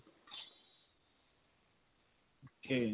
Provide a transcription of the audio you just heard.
ok.